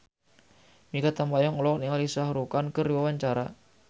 Mikha Tambayong olohok ningali Shah Rukh Khan keur diwawancara